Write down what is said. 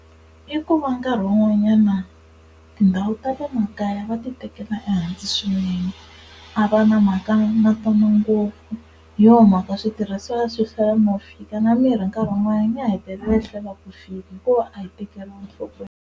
I ku va nkarhi wun'wanyana tindhawu ta le makaya va ti tekela ehansi swinene a va na mhaka na tona ngopfu hi yona mhaka switirhisiwa swihlwela no fika na mirhi nkarhi wun'wana ya hetelela yi hlwela ku fika hikuva a yi tekeriwanga nhlokweni.